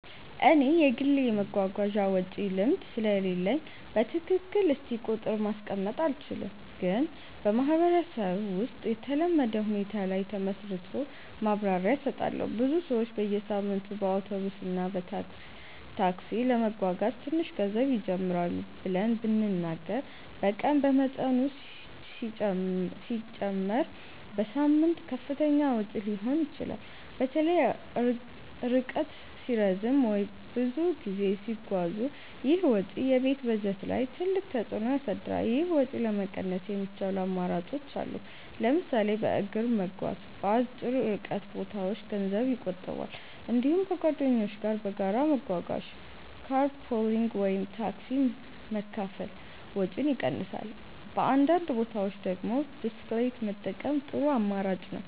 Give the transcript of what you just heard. እኔ የግል የመጓጓዣ ወጪ ልምድ ስለሌለኝ በትክክል እስቲ ቁጥር ማስቀመጥ አልችልም፣ ግን በማህበረሰብ ውስጥ የተለመደ ሁኔታ ላይ ተመስርቶ ማብራሪያ እሰጣለሁ። ብዙ ሰዎች በየሳምንቱ በአውቶቡስ እና ታክሲ ለመጓጓዝ ትንሽ ገንዘብ ይጀምራሉ ብለን ብንናገር በቀን በመጠኑ ሲጨመር በሳምንት ከፍተኛ ወጪ ሊሆን ይችላል። በተለይ ርቀት ሲረዝም ወይም ብዙ ጊዜ ሲጓዙ ይህ ወጪ የቤት በጀት ላይ ትልቅ ተፅዕኖ ያሳድራል። ይህን ወጪ ለመቀነስ የሚቻሉ አማራጮች አሉ። ለምሳሌ በእግር መጓዝ በአጭር ርቀት ቦታዎች ገንዘብ ይቆጥባል። እንዲሁም ከጓደኞች ጋር በጋራ መጓጓዝ (car pooling ወይም ታክሲ መካፈል) ወጪን ይቀንሳል። በአንዳንድ ቦታዎች ደግሞ ብስክሌት መጠቀም ጥሩ አማራጭ ነው።